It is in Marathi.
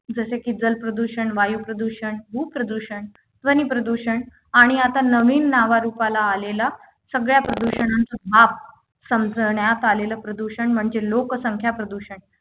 जसे की जल प्रदूषण वायू प्रदूषण भू प्रदूषण ध्वनी प्रदूषण आणि आता नवीन नावारूपाला आलेला सगळ्या प्रदूषणांचा बाप संक्रण्यात आलेले प्रदूषण म्हणजे लोकसंख्या प्रदूषण